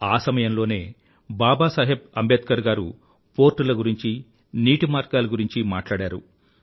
ఆ సమయంలో బాబా సాహెబ్ అంబేద్కర్ గారు పోర్ట్ ల గురించీ నీటి మార్గాల గురించీ మాట్లాడారు